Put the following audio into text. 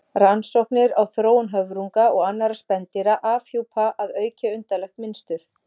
Rannsóknir á þróun höfrunga og annarra spendýra afhjúpa að auki undarlegt mynstur.